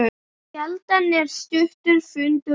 Sjaldan er stuttur fundur langur.